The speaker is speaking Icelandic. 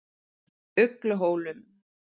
Ugluhólum